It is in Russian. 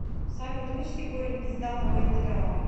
салют вычти корень из данного интеграла